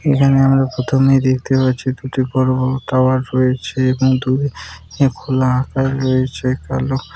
এখানে আমার প্রথমে দেখতে পাচ্ছি দুটি বড়ো বড়ো টাওয়ার রয়েছে এবং দূরে খোলা আকাশ রয়েছে কালো।